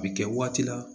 A bi kɛ waati la